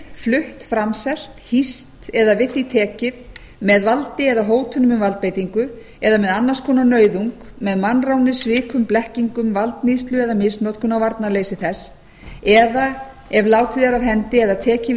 flutt framselt hýst eða við því tekið með valdi eða hótun um valdbeitingu eða með annars konar nauðung með mannráni svikum blekkingu valdníðslu eða misnotkun á varnarleysi þess eða ef látið er af hendi eða tekið við